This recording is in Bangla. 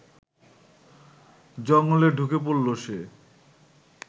জঙ্গলে ঢুকে পড়ল সে